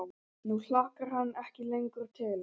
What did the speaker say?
Nú hlakkar hann ekki lengur til.